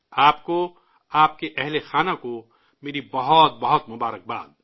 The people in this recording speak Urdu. آپ کو، آپ کی فیملی کو میری طرف سے بہت ساری نیک خواہشات